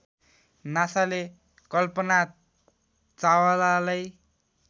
नासाले Kalpana चावलालाई